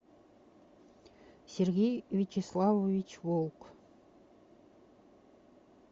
сергей вячеславович волк